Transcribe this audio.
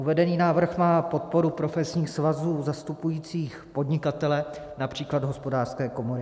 Uvedený návrh má podporu profesních svazů zastupujících podnikatele, například Hospodářské komory.